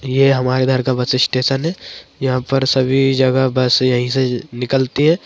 ये हमारे इधर का बस स्टेशन है यहाँ पर सभी जगह बस यही से निकलती है।